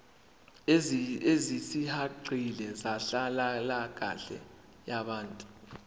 ezisihaqile zenhlalakahle yabantu